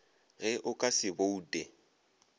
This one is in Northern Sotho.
ge o ka se boute